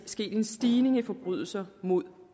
sket en stigning i forbrydelser mod